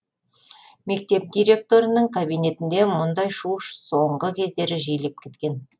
мектеп директорының кабинетінде мұндай шу соңғы кездері жиілеп кеткен